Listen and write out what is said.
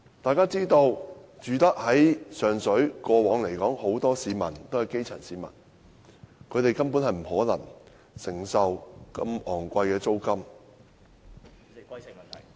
眾所周知，過往上水居民很多也是基層市民，根本不可能承受如此昂貴的租金......